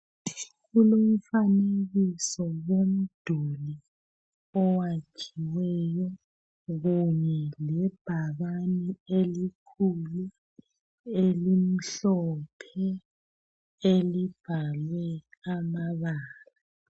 Kulomfanekiso womduli owakhiweyo kunye lebhakani elikhulu elimhlophe elibhalwe amabala.